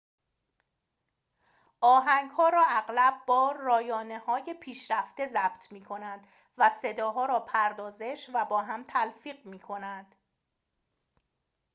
آهنگ‌ها را اغلب با رایانه‌های پیشرفته ضبط می‌کنند و صداها را پردازش و با هم تلفیق می‌کنند